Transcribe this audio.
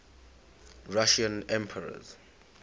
russian emperors